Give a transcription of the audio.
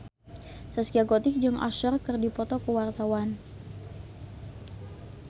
Zaskia Gotik jeung Usher keur dipoto ku wartawan